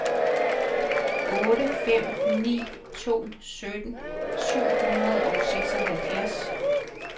otte fem ni to sytten syv hundrede og seksoghalvfjerds